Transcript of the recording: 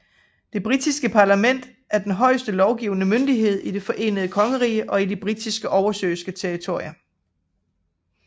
Det britiske parlament er den højeste lovgivende myndighed i Det forenede kongerige og de britiske oversøiske territorier